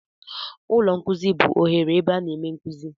Ụlọ nkuzi bụ oghere ebe a na-eme nkuzi.